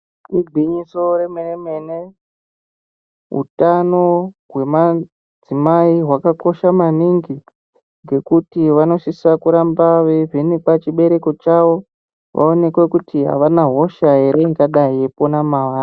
Igwinyiso remene mene utano hwemadzimai hwakakosha maningi ngekuti vanosise kuramba veyivhenekwa chibereko chavo vaonekwe kuti Havana hosha ere ingadai yeipona mavari.